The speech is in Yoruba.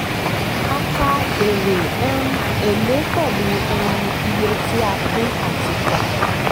a kà èrè um èlé pẹ̀lú um iye tí a pín àti tọ́.